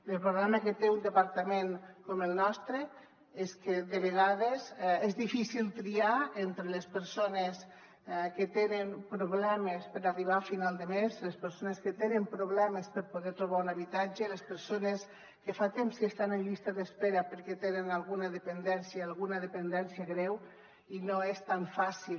el problema que té un departament com el nostre és que de vegades és difícil triar entre les persones que tenen problemes per arribar a final de mes les persones que tenen problemes per poder trobar un habitatge i les persones que fa temps que estan en llista d’espera perquè tenen alguna dependència alguna dependència greu i no és tan fàcil